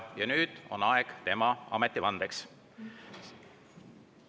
Ja nüüd on aeg tema ametivandeks.